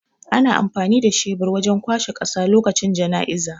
Ana amfani da shebur wajan kwashe ƙasa lokacin janaizay